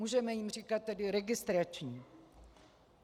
Můžeme jim říkat tedy registrační.